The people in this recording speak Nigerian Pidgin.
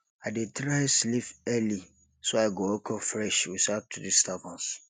i dey try sleep early so i go wake up fresh without disturbance